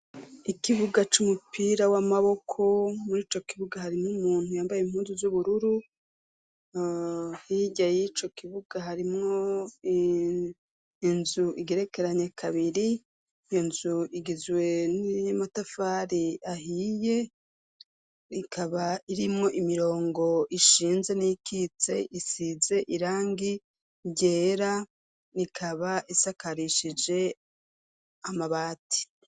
Ikibuga c'umupira w'amaboko muri ico kibuga harimwo umuntu yambaye impunzu z'ubururu, hirya y'ico kibuga harimwo inzu igerekeranye kabiri, iyo nzu igizwe n'amatafari ahiye, ikaba irimwo imirongo ishinze n'iyikitse isize irangi ryera, ikaba isakarishije amabati.